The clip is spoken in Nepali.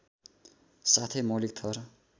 साथै मौलिक थर